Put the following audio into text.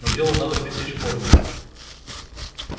но дело надо пресечь в корне